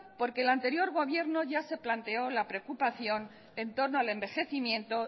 porque el anterior gobierno ya se planteó la preocupación entorno al envejecimiento